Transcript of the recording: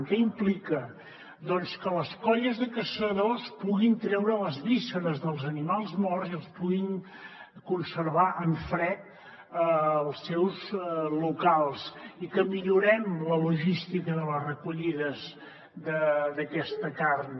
què implica doncs que les colles de caçadors puguin treure les vísceres dels animals morts i els puguin con·servar en fred als seus locals i que millorem la logística de les recollides d’aquesta carn